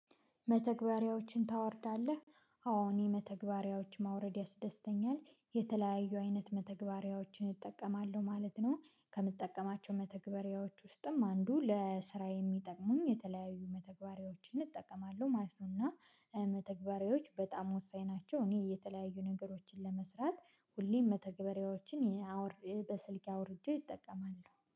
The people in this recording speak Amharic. መተግበሪያዎችን ታወርዳለህ አዎ እኔ መተግበሪያዎች ማውረድ ያስደስተኛል የተለያዩ አይነት መተግበሪያዎችን እጠቀማለሁ ማለት ነው። ከምጠቀማቸው መተግበሪያዎች ውስጥም አንዱ ለስራ የሚጠቅሙኝ የተለያዩ መተግበሪያዎችን እጠቀማለሁ ማለት ነው። እና መተግበሪያዎች በጣም ወሳኝ ናቸው። እኔ የተለያዩ ነገሮችን ለመስራት ሁሌም መተግበሪያዎችን በስልኬ አውርጄ እጠቀማለሁ